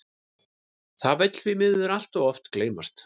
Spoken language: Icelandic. Það vill því miður allt of oft gleymast.